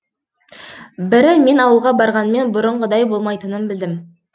бірі мен ауылға барғанмен бұрынғыдай болмайтынын білдім